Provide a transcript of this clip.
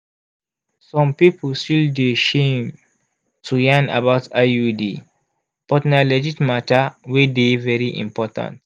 some people still dey shame to yarn about iud but na legit matter wey dey very important.